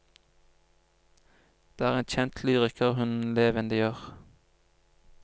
Det er en kjent lyriker hun levendegjør.